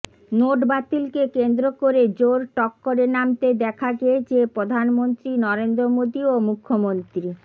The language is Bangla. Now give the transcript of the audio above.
নোট বাতিলকে কেন্দ্র করে জোর টক্করে নামতে দেখা গিয়েছে প্রধানমন্ত্রী নরেন্দ্র মোদী ও মুখ্যমন্ত্রী